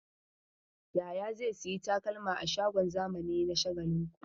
Yahaya zai sayi takalma a shagon zamani na Shagalinku.